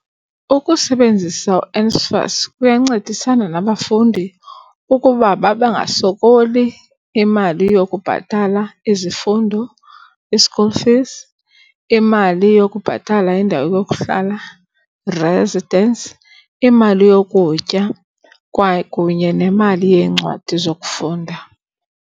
Ukusebenzisa uNSFAS kuyancedisana nabafundi ukuba bangasokoli imali yokubhatala izifundo i-school fees, imali yokubhatala indawo yokuhlala, residence, imali yokutya kwakunye nemali yeencwadi zokufunda.